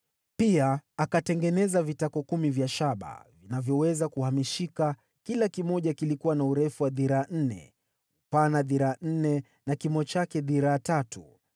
Pia akatengeneza vitako kumi vya shaba vinavyoweza kuhamishika, kila kimoja kilikuwa na urefu wa dhiraa nne, upana dhiraa nne na kimo chake dhiraa tatu